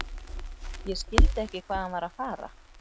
Ég skildi ekki hvað hann var að fara.